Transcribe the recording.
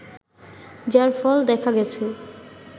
যার ফল দেখা গেছে